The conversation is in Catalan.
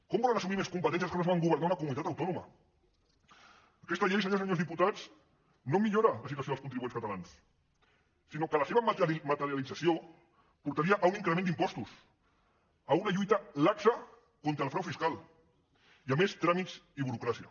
com volen assumir més competències els que no saben governar una comunitat autònoma aquesta llei senyores i senyors diputats no millora la situació dels contribuents catalans sinó que la seva materialització portaria a un increment d’impostos a una lluita laxa contra el frau fiscal i a més tràmits i burocràcia